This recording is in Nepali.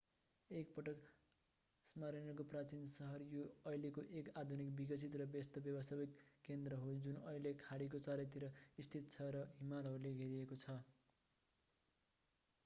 एक पटक स्मायर्नाको प्राचीन सहर यो अहिले एक आधुनिक विकसित र व्यस्त व्यवसायिक केन्द्र हो जुन अहिले खाडीको चारैतिर स्थित छ र हिमालहरूले घेरिएको छ